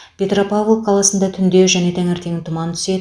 петропавл қаласында түнде және таңертең тұман түседі